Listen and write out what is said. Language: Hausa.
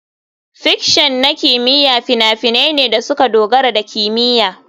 Fiction na kimiyya fina-finai ne da suka dogara da kimiyya.